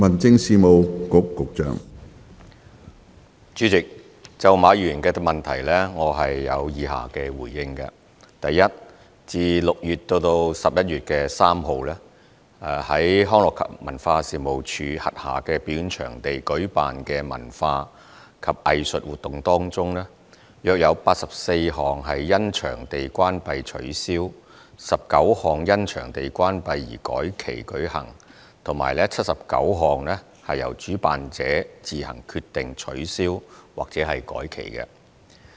主席，就馬議員的主體質詢，我的答覆如下：一自6月至11月3日，於康樂及文化事務署轄下表演場地舉辦的文化及藝術活動中，約有84項因場地關閉取消、19項因場地關閉而改期舉行及79項由主辦者自行決定取消或改期。